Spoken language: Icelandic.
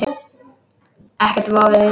Ekkert vofði yfir mér.